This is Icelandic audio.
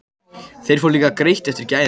Þeir fá líka greitt eftir gæðum.